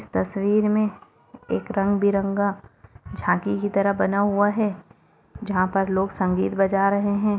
इस तस्वीर मे एक रंगीबेरंगा झांकी की तरह बना हुआ है जहां पर लोग संगीत बजा रहे है।